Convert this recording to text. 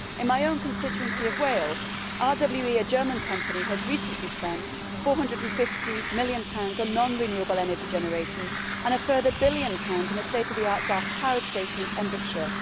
In my own constituency of Wales, RWE, a German company, recently spent GBP 450 million on non renewable energy generation and a further billion pounds on a state of the art gas power station in Pembrokeshire.